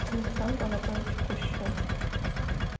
александру анатольевичу кущу